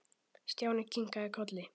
Stjáni kinkaði kolli.